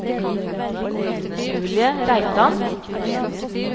Julie Reitan